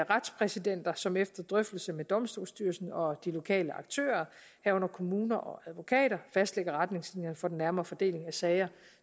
retspræsidenter som efter drøftelse med domstolsstyrelsen og de lokale aktører herunder kommuner og advokater fastlægger retningslinjerne for den nærmere fordeling af sager